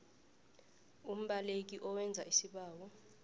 umbaleki owenza isibawo